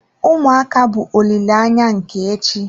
Ụmụaka bụ olileanya nke echi.